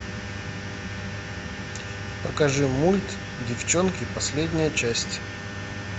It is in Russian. покажи мульт девчонки последняя часть